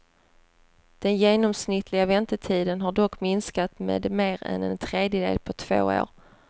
Den genomsnittliga väntetiden har dock minskat med mer än en tredjedel på två år.